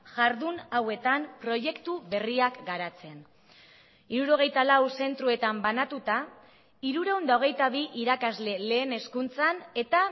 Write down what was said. jardun hauetan proiektu berriak garatzen hirurogeita lau zentroetan banatuta hirurehun eta hogeita bi irakasle lehen hezkuntzan eta